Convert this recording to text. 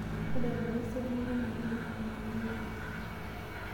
tadalayu esiana ai naing'ua nnaanyorri